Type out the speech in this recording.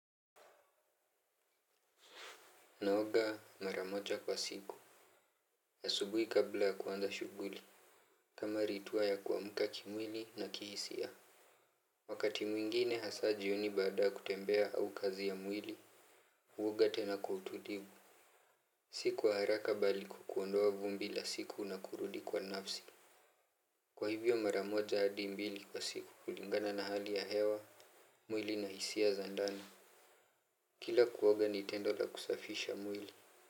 Naoga mara moja kwa siku asubuhi kabla kuanza shughuli. Kama ritua ya kuamka kimwili na kihisia. Wakati mwingine hasa jioni baada kutembea au kazi ya mwili huoga tena kwa utulivu. Siku kwa haraka bali kuondoa vumbi la siku na kurudi kwa nafsi. Kwa hivyo mara moja hadi mbili kwa siku kulingana na hali ya hewa. Mwili na hisia za ndani kila kuoga ni tendo la kusafisha mwili.